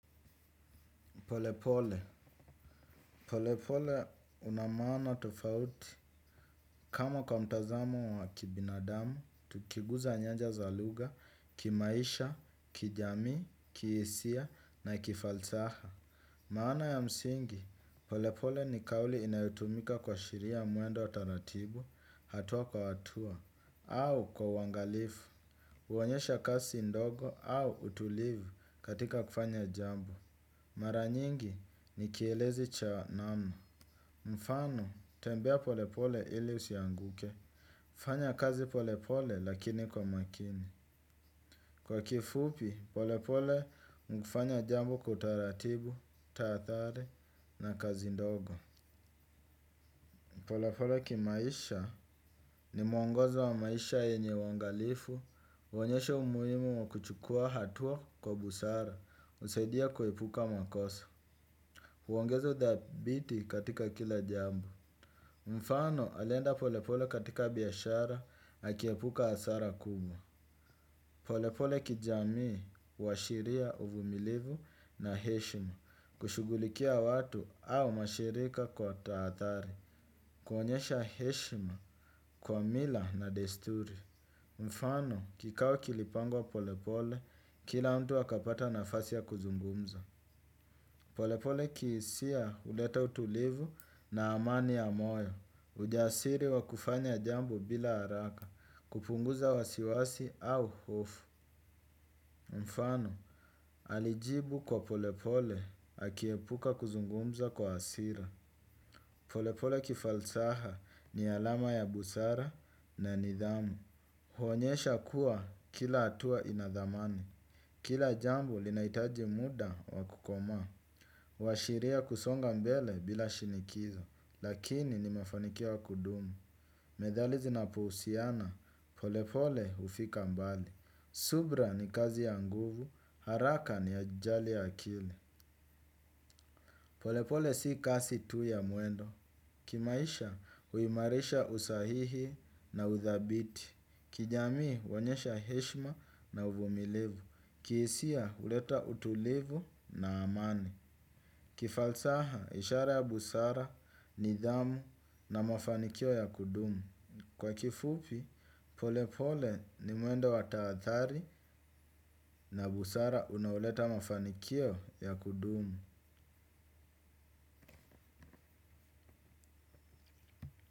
Polepole. Polepole una maana tofauti. Kama kwa mtazamo wa kibinadamu, tukiguza nyanja za lugha, kimaisha, kijamii, kiesia, na kifalsaha. Maana ya msingi, polepole ni kauli inayotumika kuashiria mwendo wa taratibu, hatua kwa watua, au kwa uangalifu. Uonyesha kasi ndogo au utulivu katika kufanya jambo. Mara nyingi ni kielezi cha namna, mfano tembea polepole ili usianguke. Fanya kazi polepole lakini kwa makini, kwa kifupi polepole mkifanya jambo kutaratibu, taadhari na kazi ndogo. Polepole kimaisha ni mwongozo wa maisha yenye uangalifu huonyesha umuhimu wa kuchukua hatua kwa busara husaidia kuhepuka makoso. Huongezo udhabiti katika kila jambo. Mfano alienda polepole katika biashara, akiepuka hasara kubwa. Polepole kijamii, huashiria uvumilivu na heshima, kushugulikia watu au mashirika kwa taadhari. Kuonyesha heshima, kwa mila na desturi. Mfano kikao kilipangwa polepole, kila mtu akapata nafasi ya kuzungumza. Polepole kihisia huleta utulivu na amani ya moyo. Ujasiri wa kufanya jambo bila haraka. Kupunguza wasiwasi au hofu. Mfano, alijibu kwa polepole akiepuka kuzungumza kwa hasira. Polepole kifalsaha ni alama ya busara na nidhamu. Huonyesha kuwa kila atua ina dhamani, kila jambo linaitaji muda wakukomaa. Huashiria kusonga mbele bila shinikizo, lakini ni mafanikio ya kudumu. Medhali zinapohusiana, polepole hufika mbali. Subra ni kazi ya nguvu, haraka ni ajali ya kili. Polepole si kasi tu ya mwendo. Kimaisha huimarisha usahihi na udhabiti. Kijamii huonyesha heshma na uvumilivu. Kihisia huleta utulivu na amani. Kifalsaha ishara ya busara nidhamu na mafanikio ya kudumu. Kwa kifupi pole pole ni mwendo wa taadhari na busara unaoleta mafanikio ya kudumu.